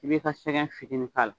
I bɛ i ka sɛgɛn fitinin k'a la.